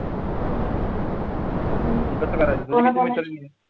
मग कसं करायचं